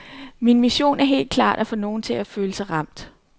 Min mission er helt klart at få nogen til at føle sig ramt.